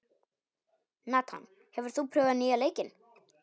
Nathan, hefur þú prófað nýja leikinn?